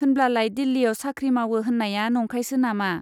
होनब्लालाय दिल्लीयाव साख्रि मावो होन्नाया नंखायसो नामा ?